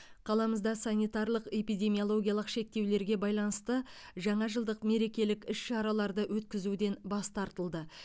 қаламызда санитарлық эпидемиологиялық шектеулерге байланысты жаңажылдық мерекелік іс шараларды өткізуден бас тартылды